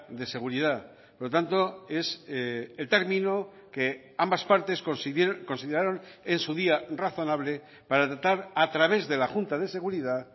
de seguridad por lo tanto es el término que ambas partes consideraron en su día razonable para tratar a través de la junta de seguridad